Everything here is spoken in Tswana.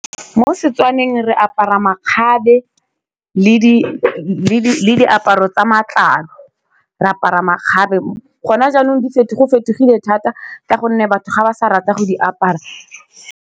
Mo Setswaneng re apara makgabe le diaparo tsa matlalo re apara makgabe gona jaanong go fetogile thata ka gonne batho ga ba sa rata go di apara.